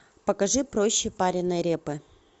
покажи проще пареной репы